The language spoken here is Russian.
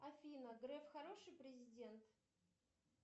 афина греф хороший президент